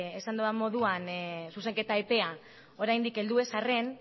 esan dudan moduan zuzenketa epea oraindik heldu ez arren